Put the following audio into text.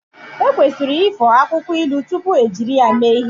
Ekwesịrị ifo akwụkwọ ilu tupu ejiri ya mee ihe